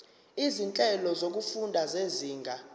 izinhlelo zokufunda zezinga